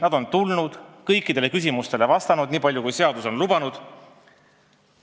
Nad on tulnud ja kõikidele küsimustele vastanud, nii palju kui seadus on lubanud.